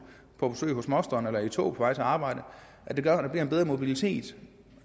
på besøg hos moster eller sidder i et tog på vej til arbejde det gør at der bliver en bedre mobilitet